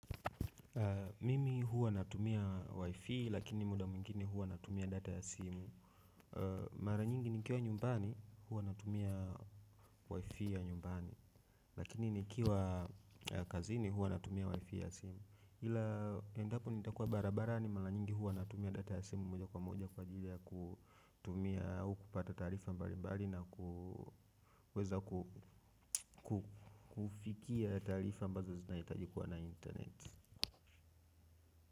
Mimi huwa natumia Wifi lakini muda mwingine huwa natumia data ya simu. Mara nyingi nikiwa nyumbani huwa natumia wifi ya nyumbani lakini nikiwa kazini huwa natumia wifi ya simu ila endapo nitakuwa barabarani mara nyingi huwa natumia data ya simu. Moja kwa moja kwa ajili ya kutumia au kupata taarifa mbali mbali na kuweza kufikia taarifa ambazo zinahitaji kuwa na internet.